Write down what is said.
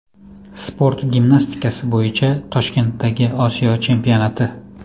Sport gimnastikasi bo‘yicha Toshkentdagi Osiyo chempionati.